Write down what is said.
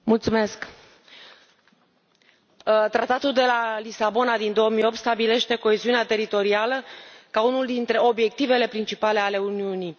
Doamnă președintă, Tratatul de la Lisabona din 2008 stabilește coeziunea teritorială ca unul dintre obiectivele principale ale Uniunii.